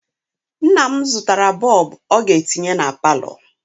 Nna m zụtara bọọbụ ọ ga-etinye na palọ.